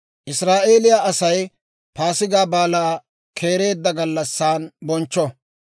«Israa'eeliyaa Asay Paasigaa Baalaa keereedda gallassan bonchcho.